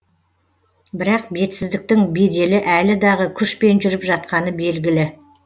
бірақ бетсіздіктің беделі әлі дағы күшпен жүріп жатқаны белгілі